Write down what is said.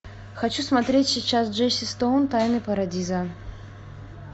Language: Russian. хочу смотреть сейчас джесси стоун тайны парадиза